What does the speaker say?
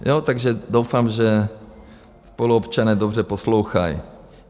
Takže doufám, že spoluobčané dobře poslouchají.